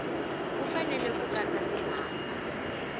wu fanele ku katsa timhaka